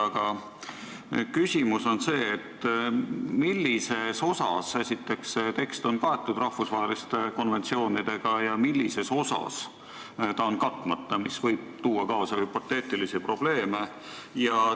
Aga millises osas, esiteks, see tekst on kaetud rahvusvaheliste konventsioonidega ja millises osas ta on katmata, mis võib tuua kaasa hüpoteetilisi probleeme?